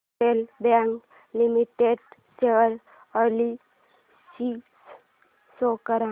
federal Bank Limited share analysis show कर